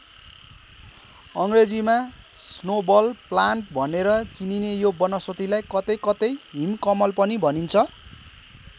अङ्ग्रेजीमा snowball plant भनेर चिनिने यो वनस्पतिलाई कतै कतै हिम कमल पनि भनिन्छ।